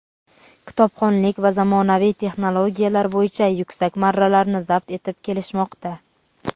kitobxonlik va zamonaviy texnologiyalar bo‘yicha yuksak marralarni zabt etib kelishmoqda.